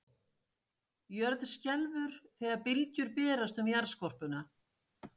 Jörð skelfur þegar bylgjur berast um jarðskorpuna.